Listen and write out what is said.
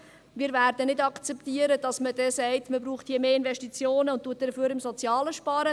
Wir werden nicht akzeptieren, dass man sagt, es brauche hier mehr Investitionen, dafür aber beim Sozialen spart.